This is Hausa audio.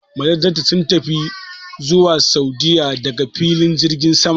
Majajjata sun tafi zuwa Sa'udiyya daga filin jirgin sama.